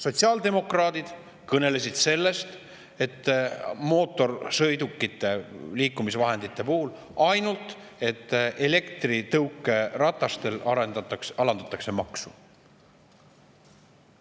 Sotsiaaldemokraadid kõnelesid sellest, et mootorsõidukite, liikumisvahendite puhul elektritõukeratastel alandatakse maksu.